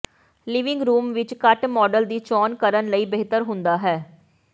living room ਵਿੱਚ ਘੱਟ model ਦੀ ਚੋਣ ਕਰਨ ਲਈ ਬਿਹਤਰ ਹੁੰਦਾ ਹੈ